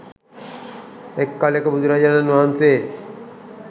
එක් කලෙක බුදුරජාණන් වහන්සේ